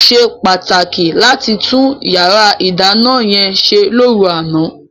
Ó ṣe pàtàkì láti tún yàrá ìdáná yẹn ṣe lóru àná.